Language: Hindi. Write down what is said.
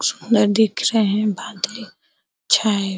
सुन्दर दिख रहे हैं बादल च्छा है।